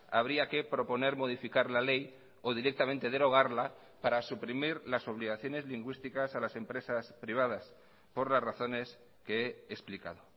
habría que proponer modificar la ley o directamente derogarla para suprimir las obligaciones lingüísticas a las empresas privadas por las razones que he explicado